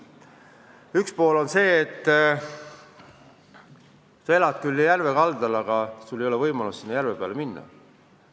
Üks mure on see, et sa elad küll järve kaldal, aga sul ei ole võimalik sinna järve peale minna.